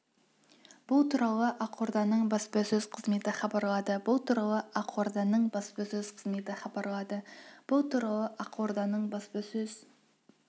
бұл туралы ақорданың баспасөз қызметі хабарлады бұл туралы ақорданың баспасөз қызметі хабарлады бұл туралы ақорданың баспасөз